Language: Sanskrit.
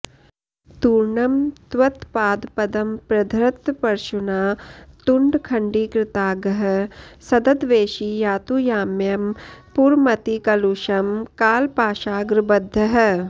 तूर्णं त्वत्पादपद्मप्रधृतपरशुना तुण्डखण्डीकृताङ्गः सद्द्वेषी यातु याम्यं पुरमतिकलुषं कालपाशाग्रबद्धः